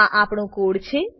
આ આપણો કોડ છે